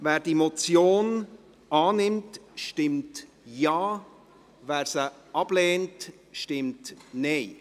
Wer die Motion annimmt, stimmt Ja, wer diese ablehnt, stimmt Nein.